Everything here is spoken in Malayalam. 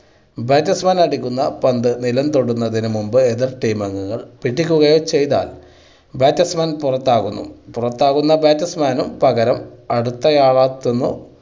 batsman അടിക്കുന്ന പന്ത് നിലം തൊടുന്നതിന് മുമ്പ് എതിർ team അംഗങ്ങൾ പിടിക്കുകയോ ചെയ്താൽ batsman പുറത്താകുന്നു. പുറത്താകുന്ന batsman ന് പകരം അടുത്ത ആൾ എത്തുന്നു.